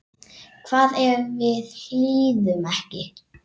Hvað ef við hlýðum ekki?